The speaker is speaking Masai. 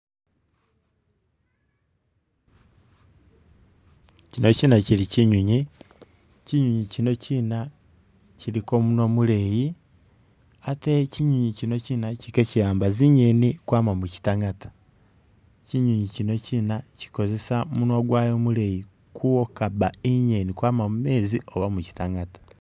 Kyino kyina kyili kyinywinywi, kyinywinywi kyino kyina kyiliko munwa muleyi ,ate kyinywinywi kyino kyina kyili kekyi'amba zinyeni kwama mukyitangata ,kyinywinywi kyino kyina kyikozesa munwa gwayo muleyi kuwokabba inyeni kwama mumeezi oba mukyitangata